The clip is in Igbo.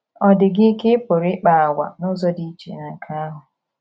Ọ̀ dị gị ka ị pụrụ ịkpa àgwà n’ụzọ dị iche na nke ahụ?